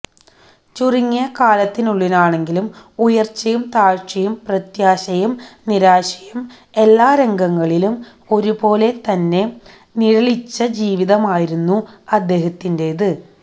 ചുരുങ്ങിയ കാലത്തിനുള്ളിലാണെങ്കിലും ഉയര്ച്ചയും താഴ്ചയും പ്രത്യാശയും നിരാശയും എല്ലാ രംഗങ്ങളിലും ഒരുപോലെ തന്നെ നിഴലിച്ച ജീവിതമായിരുന്നു അദ്ദേഹത്തിന്റേത്